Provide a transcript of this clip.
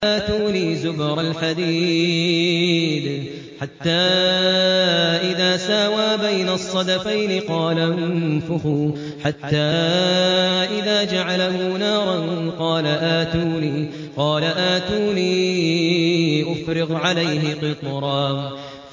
آتُونِي زُبَرَ الْحَدِيدِ ۖ حَتَّىٰ إِذَا سَاوَىٰ بَيْنَ الصَّدَفَيْنِ قَالَ انفُخُوا ۖ حَتَّىٰ إِذَا جَعَلَهُ نَارًا قَالَ آتُونِي أُفْرِغْ عَلَيْهِ قِطْرًا